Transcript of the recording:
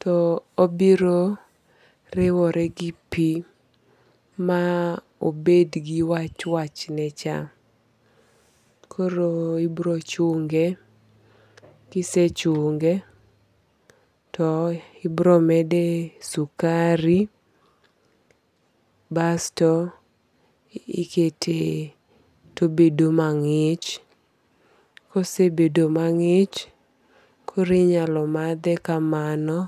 to obiro riwore gi pi ma obed gi wach wach ne cha. Koro ibiro chunge. Kisechunge ibiro mede sukari. Basto ikete to obedo mang'ich. Kosebedo mang'ich koro inyalo madhe kamano.